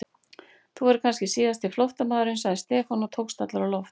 Þú verður kannski síðasti flóttamaðurinn sagði Stefán og tókst allur á loft.